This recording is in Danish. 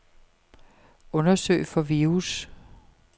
Undersøg for virus.